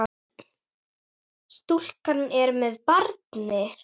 Stúlkan er með barni.